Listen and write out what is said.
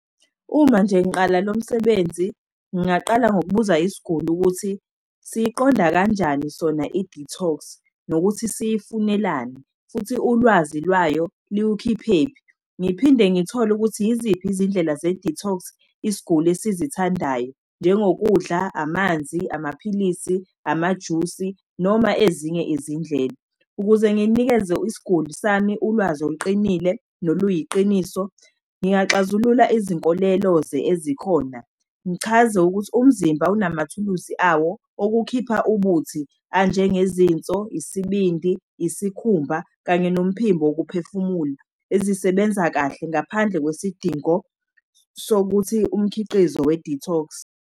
Uma nje ngiqala lo msebenzi, ngingaqala ngokubuza isiguli ukuthi siyiqonda kanjani sona i-detox, nokuthi siyifunelani, futhi ulwazi lwayo likukhiphephi. Ngiphinde ngithole ukuthi yiziphi izindlela ze-detox, isiguli esizithandayo, njengokudla, amanzi, amaphilisi, amajusi, noma ezinye izindlela. Ukuze ngilinikeze isiguli sami, ulwazi oluqinile, noluyiqiniso, ngingaxazulula izinkolelo ezikhona. Ngichaze ukuthi umzimba unamathuluzi awo okukhipha ubuthi, anjengezinso, isibindi, isikhumba, kanye nomphimbo wokuphefumula, ezisebenza kahle ngaphandle kwesidingo sokuthi umkhiqizo we-detox.